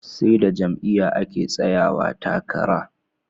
Seda jam'iya ake tsayawa takara